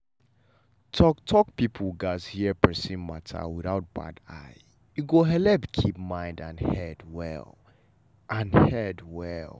talk-talk people gatz hear persin matter without bad eye e go helep keep mind and head well. and head well.